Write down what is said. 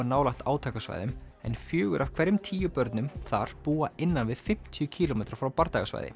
nálægt átakasvæðum en fjórir af hverjum tíu börnum þar búa innan við fimmtíu kílómetra frá